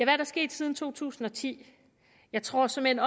er der sket siden 2010 jeg tror såmænd